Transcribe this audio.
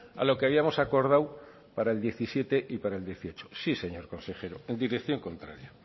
a lo que habíamos acordado para el diecisiete y para el dieciocho sí señor consejero en dirección contraria